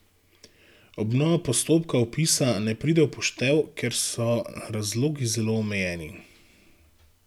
Obnova postopka vpisa ne preide v poštev, ker so razlogi zelo omejeni.